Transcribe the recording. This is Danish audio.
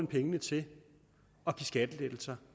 pengene til at give skattelettelser